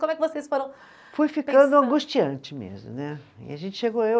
Como é que vocês foram. Foi ficando angustiante mesmo, né? E a gente chegou eu